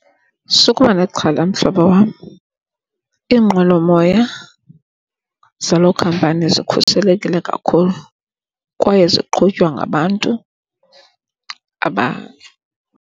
Sukuba nexhala, mhlobo wam, iinqwelomoya zaloo khampani zikhuselekile kakhulu kwaye ziqhutywa ngabantu .